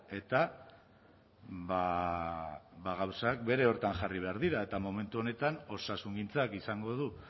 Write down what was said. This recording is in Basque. eta ba gauzak bere horretan jarri behar dira eta momentu honetan osasungintzak izango du